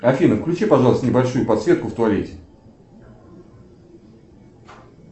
афина включи пожалуйста небольшую подсветку в туалете